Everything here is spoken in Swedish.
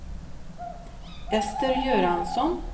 Ester Göransson